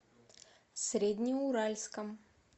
среднеуральском